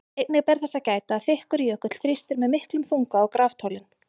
Einnig ber þess að gæta að þykkur jökull þrýstir með miklum þunga á graftólin.